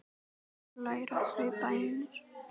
Þar læra þau bænir.